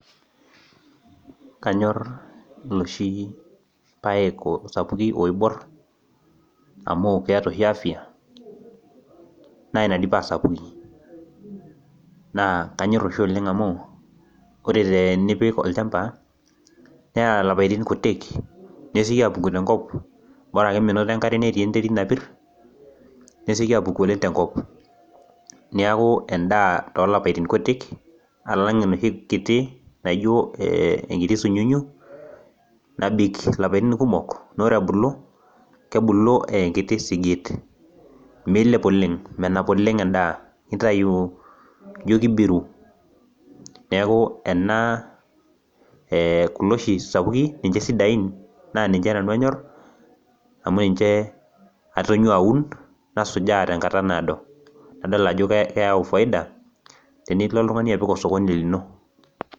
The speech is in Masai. Kanyor looshi paek sapukin oibor amu keata oshi afia naa ina dei paa sapuki. Naa kanyor oshi oleng' amu, ore tenipik olchamba, neya ilapaitin kutik nesioki aapuku tenkop, ore ake meinoto enkare neinot enterit napir, neitoki aapuku oleng' tenkop neaku endaa olapaitin kutik alang' enooshi kiti naijo enkiti sunyunyu nabik ilapaitin kumok, naa ore ebulu, nebulu aa enkiti sigiit, meilep oleng' menap oleng' endaa neitayu ijo keibiru, neaku ena, kulo oshi sapukin, ninche sidain, naa ninche nanu anyor, amu ninche atonyua aun, nasujaa tenkata naado, nadol ajo keyau faida tenilo oltung'ani apik olsokoni lino.